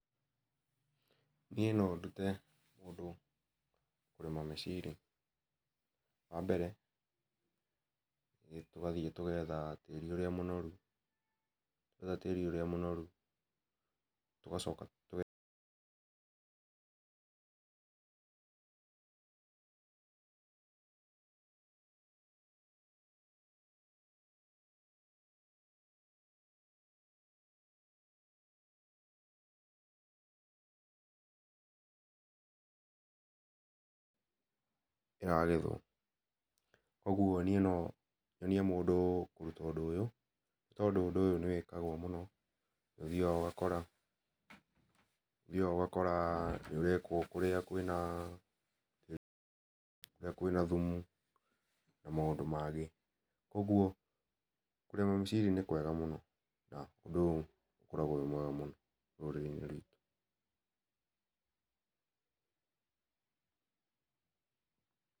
Niĩ no ndũte ũndũ kũrĩma mĩciri. Wa mbere nĩ tũgathiĩ tũgetha tĩri ũrĩa mũnoru. Twetha tĩri ũrĩa mũnoru tũgacoka kĩragethwo koguo niĩ nonyonie mũndũ kũruta ũndũ ũyũ tondũ ũndũ ũyũ nĩ wĩkagũo mũno nĩ ũthiaga ũgakora nĩ ũrekwo kũrĩa kwĩna thumu na maũndũ mangĩ koguo kũrĩma mĩciri nĩ kwega mũno na ũndũ ũyũ ũkoragwo wĩ mwega mũno rũrĩrĩ-inĩ rwitũ.